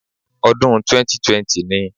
Odún 2020 ni